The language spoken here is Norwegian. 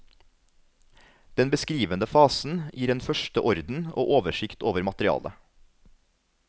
Den beskrivende fasen gir en første orden og oversikt over materialet.